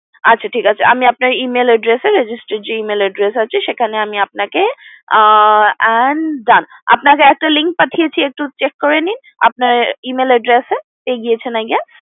আচ্ছা ঠিক আছে আমি আপনার Email address registered যে email address আছে সেখানে আমি আপনাকে and done আমি আপনাকে একটা link পাঠিয়েছি check করে নিন email address এ গিয়েছে না গিয়েছে